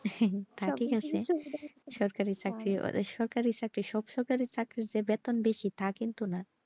তা ঠিক আছে সরকারি চাকরি সব সরকারি চাকরির যে বেতন বেশি তা কিন্তু না।